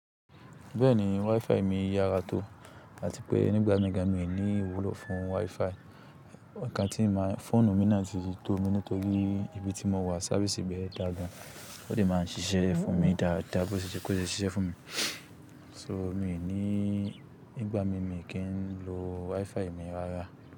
Bẹ́ẹ̀ni, WiFi mi yára tó àti pé nígbà mìíràn mi ò ní ìwúlò fún WiFi. Ọ̀kán tí màá fóònù mi máa sì fi tó mi nítorí ní ibi tí mò wà sáfísì bẹ́ẹ̀ dàgbà, ó sì máa ń ṣiṣẹ́ fún mi dáadáa bó ti kò ṣe ṣiṣẹ́ fún mi. So mi ò ní, nígbà mìíràn mi kì ń lo WiFi mi dáadáa.